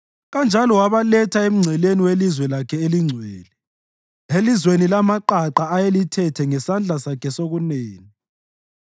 Kanjalo wabaletha emngceleni welizwe lakhe elingcwele, elizweni lamaqaqa ayelithethe ngesandla sakhe sokunene.